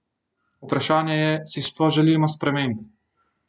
Vprašanje je, si sploh želimo sprememb?